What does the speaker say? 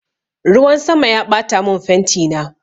Ruwan sama ya ɓatamin fentina